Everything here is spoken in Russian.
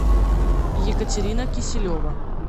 екатерина киселева